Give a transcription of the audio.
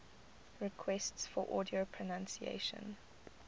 requests for audio pronunciation